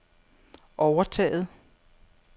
overtaget